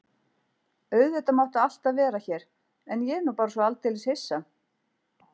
Auðvitað máttu alltaf vera hér en ég er nú bara svo aldeilis hissa.